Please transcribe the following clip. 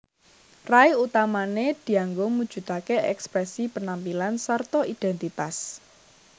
Rai utamané dianggo mujudaké èksprèsi penampilan sarta idhèntitas